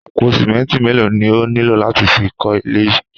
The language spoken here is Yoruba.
Àpò sìmẹ́ńtì mélòó ni ó nílò láti fi kọ́ ilé yìí?